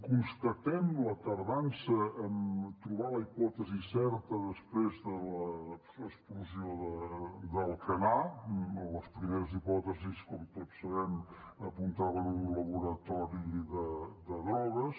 constatem la tardança en trobar la hipòtesi certa després de l’explosió d’alcanar les primeres hipòtesis com tots sabem apuntaven a un laboratori de drogues